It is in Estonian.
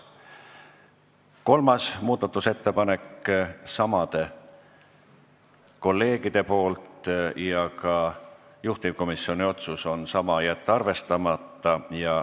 Kolmas muudatusettepanek samadelt kolleegidelt, ka juhtivkomisjoni otsus on sama: jätta arvestamata.